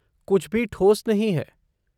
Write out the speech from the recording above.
कुछ भी ठोस नहीं है।